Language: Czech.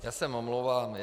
Já se omlouvám.